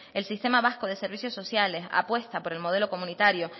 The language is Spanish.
el sistema vasco de servicios sociales apuesta por el modelo comunitario